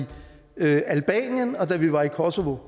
da vi var i kosovo